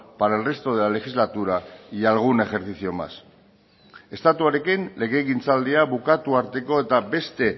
para el resto de la legislatura y algún ejercicio más estatuarekin legegintzaldia bukatu arteko eta beste